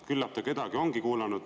Küllap ta kedagi ongi kuulanud.